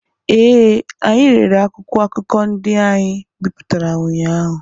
ee, anyị rere akwụkwọ akụkọ ndị anyị bipụtara ụnyaahụ